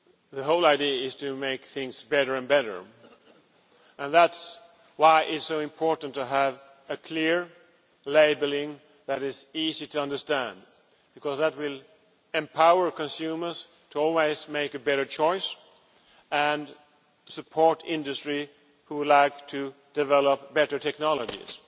The whole idea is to make things better and better, and that is why it is so important to have clear labelling that is easy to understand because that will empower consumers to always make a better choice and support industry which wants to develop better technologies.